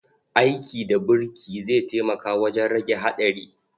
Aiki da burki zai taimaka wajen rage haɗari.